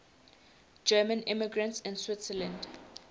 german immigrants to switzerland